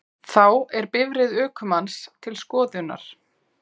Þá er bifreið ökumanns til skoðunar